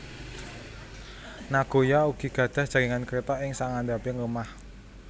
Nagoya ugi gadhah jaringan Kreta ing sangandhaping lemah